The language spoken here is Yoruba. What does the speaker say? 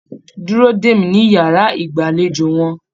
Dúró dè mí ní yàrá ìgbàlejò wọn.